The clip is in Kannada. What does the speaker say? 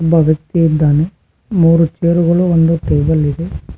ಒಬ್ಬ ವ್ಯಕ್ತಿ ಇದ್ದಾನೆ ಮೂರು ಚೇರುಗಳು ಒಂದು ಟೇಬಲ್ ಇದೆ.